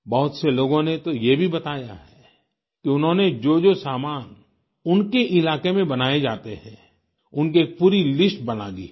बहुत से लोगों ने तो ये भी बताया है कि उन्होंने जोजो सामान उनके इलाके में बनाए जाते हैं उनकी एक पूरी लिस्ट बना ली है